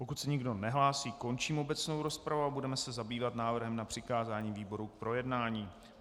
Pokud se nikdo nehlásí, končím obecnou rozpravu a budeme se zabývat návrhem na přikázání výboru k projednání.